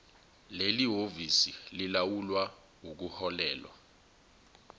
lelihhovisi lilawula ukuhlolelwa